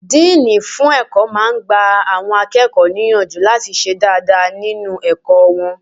Díìnì fún ẹ̀kọ́ máa n gba àwọn akẹ́kọ̀ọ́ níyànjú láti ṣe dáadáa nínu ẹ̀kọ́ wọn